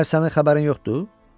Məyər sənin xəbərin yoxdur?